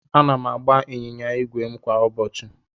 Ana m agba ịnyịnya ígwè m kwa ụbọchị.